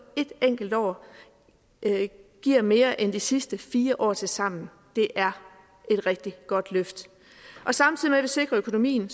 et enkelt år giver mere end de sidste fire år tilsammen det er et rigtig godt løft samtidig med at vi sikrer økonomien